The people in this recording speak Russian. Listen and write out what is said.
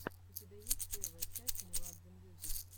у тебя есть первая часть меладзе мьюзик